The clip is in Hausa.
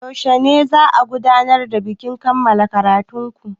Yaushe za'a gudanar da bikin kammala ƙaratun ku?